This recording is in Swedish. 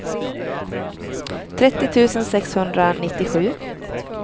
trettio tusen sexhundranittiosju